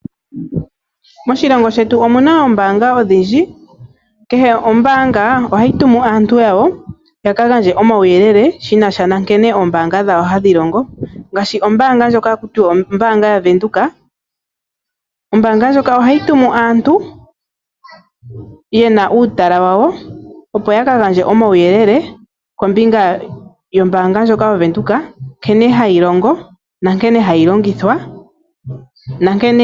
Moshilongo shetu omuna oombaanga odhindji. Kehe ombaanga ohayi tumu aantu yawo ya ka gandje omauyelele shina sha nankene oombaanga dhawo hadhi longo. Ngaashi ombaanga ndjoka ohaku tiwa ombaanga yaVenduka. Ombaanga ndjoka ohayi tumu aantu yena uutala wawo opo ya ka gandje omauyelele kombinga yombaanga ndjoka yaVenduka nkene hayi longo nankene hayi longithwa.